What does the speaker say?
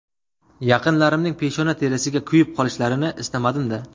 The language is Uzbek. Yaqinlarimning peshona terisiga kuyib qolishlarini istamadim-da!